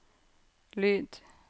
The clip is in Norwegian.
lyd